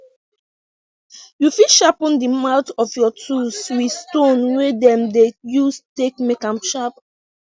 you fit sharpen de mouth of your tools wit stone wey dem dey use take make am sharp